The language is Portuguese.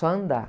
Só andar.